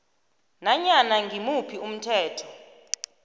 nanyana ngimuphi umthetho